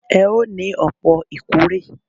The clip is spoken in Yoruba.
Ẹ o ní òpò ìkórè